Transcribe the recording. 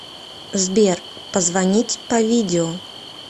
сбер позвонить по видео